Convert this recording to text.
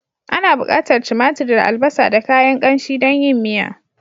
Ana bukatar timatir da albasa da kayan kanshi don yin miya.